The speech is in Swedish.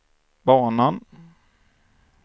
banan